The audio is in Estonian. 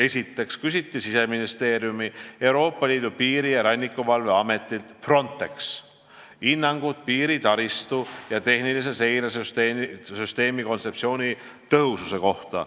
Esiteks küsis Siseministeerium Euroopa Piiri- ja Rannikuvalve Ametilt Frontex hinnangut piiritaristu ja tehnilise seire süsteemi kontseptsiooni tõhususe kohta.